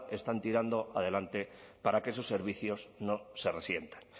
están tirando adelante para que esos servicios no se resientan